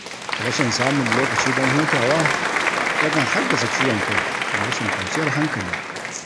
Rashin samun lokaci don hutawa, yakan haddasa ciwon kai da rashin kwanciyar hankali.